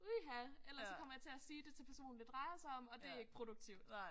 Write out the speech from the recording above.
Uha ellers så kommer jeg til at sige det til personen det drejer sig om og det ikke produktivt